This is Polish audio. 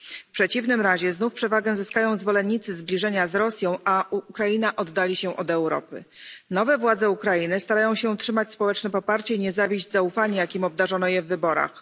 W przeciwnym razie znów przewagę zyskają zwolennicy zbliżenia z Rosją, a Ukraina oddali się od Europy. Nowe władze Ukrainy starają się utrzymać społeczne poparcie i nie zawieść zaufania, jakim obdarzono je w wyborach.